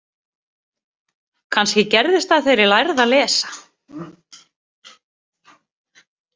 Kannski gerðist það þegar ég lærði að lesa.